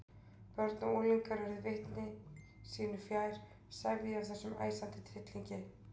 Börn og unglingar urðu viti sínu fjær, sefjuð af þessum æsandi tryllingi.